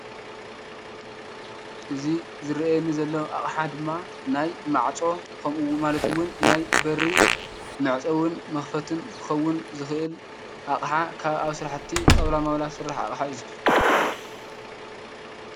እዚ ዝርአየኒ ዘሎ ኣቅሓ ድማ ናይ ማዕፆ ማለት እውን ናይ በሪ መዕፀውን መክፈትን ክከውን ዝክእል ኣቅሓ ካብ ኣብ ስራሕቲ ጣውላ ማውላ ዝስራሕ ኣቅሓ እዩ።